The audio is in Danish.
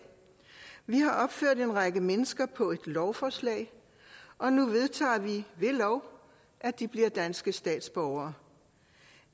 vi har opført navnene på en række mennesker på et lovforslag og nu vedtager vi ved lov at de bliver danske statsborgere